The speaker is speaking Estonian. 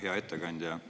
Hea ettekandja!